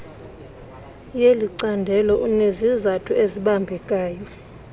yelicandelo unezizathu ezibambekayo